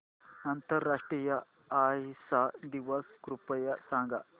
आंतरराष्ट्रीय अहिंसा दिवस कृपया सांगा